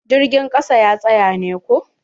Jirgin ƙasa ya tsaya ne ko?